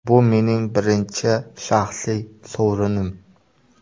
Bu mening birinchi shaxsiy sovrinim.